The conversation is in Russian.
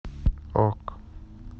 ок